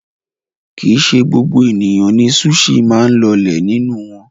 Kì í ṣe gbogbo ènìyàn ni súṣì máa ń lọlẹ̀ nínú wọn.